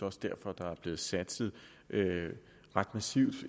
også derfor at der er blevet satset ret massivt